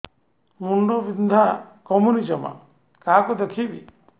ମୁଣ୍ଡ ବିନ୍ଧା କମୁନି ଜମା କାହାକୁ ଦେଖେଇବି